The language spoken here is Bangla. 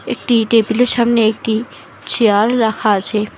একটি টেবিলের সামনে একটি চেয়ার রাখা আছে।